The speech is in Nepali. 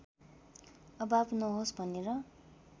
अभाव नहोस् भनेर